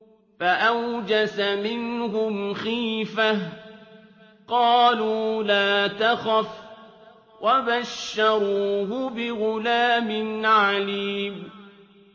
فَأَوْجَسَ مِنْهُمْ خِيفَةً ۖ قَالُوا لَا تَخَفْ ۖ وَبَشَّرُوهُ بِغُلَامٍ عَلِيمٍ